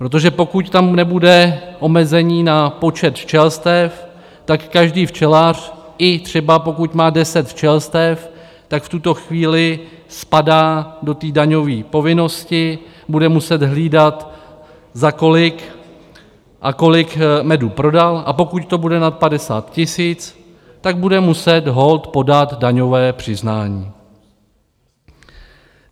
Protože pokud tam nebude omezení na počet včelstev, tak každý včelař, i třeba pokud má 10 včelstev, tak v tuto chvíli spadá do té daňový povinnosti, bude muset hlídat, za kolik a kolik medu prodal, a pokud to bude nad 50 tisíc, tak bude muset holt podat daňové přiznání.